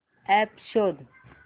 app शोध